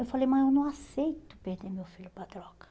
Eu falei, mas eu não aceito perder meu filho para a droga.